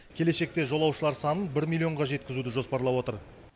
келешекте жолаушылар санын бір миллионға жеткізуді жоспарлап отыр